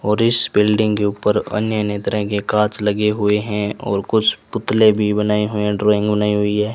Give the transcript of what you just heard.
और इस बिल्डिंग के ऊपर अन्य अन्य तरह के कांच लगे हुए हैं और कुछ पुतले भी बनाए हुए हैं ड्राइंग बनाई हुई है।